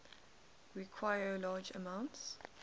require large amounts